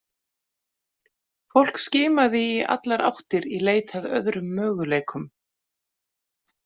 Fólk skimaði í allar áttir í leit að öðrum möguleikum.